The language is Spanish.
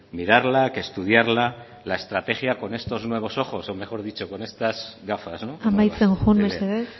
mirarla que estudiarla la estrategia con estos nuevos ojos o mejor dicho con estas gafas amaitzen joan mesedez